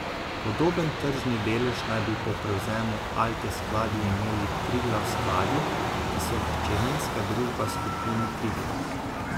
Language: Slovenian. Podoben tržni delež naj bi po prevzemu Alte Skladi imeli Triglav Skladi, ki so hčerinska družba Skupine Triglav.